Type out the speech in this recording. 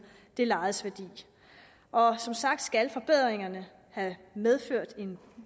det lejedes værdi og som sagt skal forbedringerne have medført en